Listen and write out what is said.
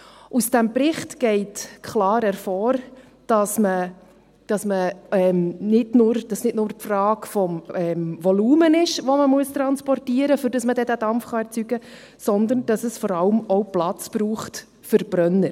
Aus dem Bericht geht klar hervor, dass es nicht nur eine Frage des Volumens ist, das man transportieren muss, damit man den Dampf erzeugen kann, sondern dass es vor allem auch Platz braucht für Brenner.